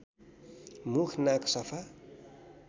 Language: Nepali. मुख नाक सफा